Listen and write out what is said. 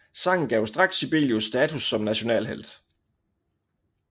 Sangen gav straks Sibelius status som nationalhelt